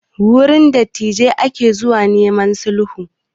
Wurin dattijai ake zuwa neman sulhu